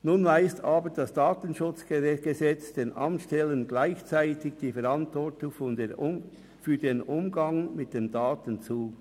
Nun weist aber das KDSG den Amtsstellen gleichzeitig die Verantwortung für den Umgang mit den Daten zu.